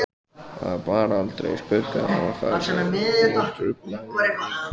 Það bar aldrei skugga á það og það truflaði engan.